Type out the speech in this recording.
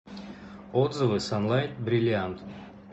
отзывы санлайт бриллиант